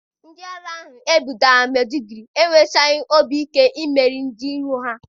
Ndị agha e bugara na Medụgụri enwechaghị obi ike imeri ndị iro ha.